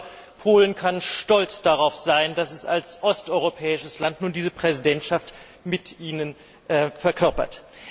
Ich glaube, Polen kann stolz darauf sein, dass es als osteuropäisches Land nun diese Präsidentschaft mit Ihnen verkörpert.